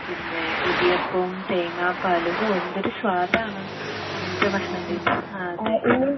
പിന്നേ ഇടിയപ്പവും തേങ്ങാപ്പാലും ഓ എന്തൊരു സാദാണ് അങ്ങനത്തെ ഭക്ഷണ രീതി അഹ്